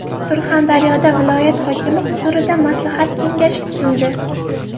Surxondaryoda viloyat hokimi huzurida maslahat kengashi tuzildi.